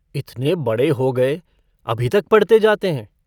इतने बड़े हो गए, अभी तक पढ़ते जाते हैं।